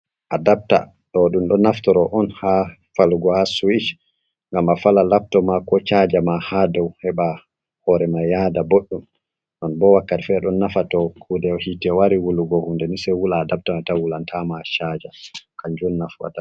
Adapta ɗo ɗum ɗo naftoro on ha falgo ha suwish gam a fala lapto, ma ko chajama, ha dou heba hore mai yahda boɗɗum, on bo wakkati fere ɗon nafa to kude hite wari wulugo hunde, sei wula adapta mai tan wulan tama chaaja kanjun nafata.